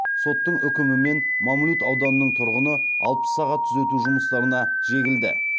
соттың үкімімен мамлют ауданының тұрғыны алпыс сағат түзету жұмыстарына жегілді